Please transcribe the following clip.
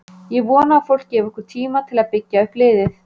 Ég vona að fólk gefi okkur tíma til að byggja upp liðið.